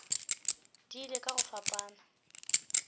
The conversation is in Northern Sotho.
di ile ka go fapana